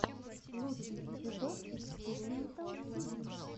лучший эпизод экспиримэнт тиви